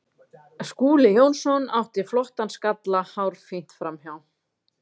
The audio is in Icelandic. Skúli Jónsson átti flottan skalla hárfínt framhjá.